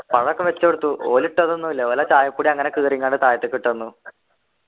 പാഴൊക്കെ വച്ച് കൊടുത്തു ഓല് ഇട്ടതൊന്നും ഇല്ല ഓലാ ചായപ്പൊടി അങ്ങനെ കീറീംകണ്ട് താഴത്തേക്ക് ഇട്ടന്നു